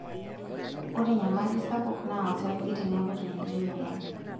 Ore enyamali sapuk naa osarge teneku tenebo emoyian.